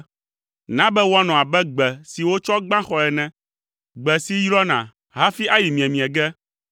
Na be woanɔ abe gbe si wotsɔ gbã xɔe ene, gbe si yrɔna, hafi ayi miemie ge.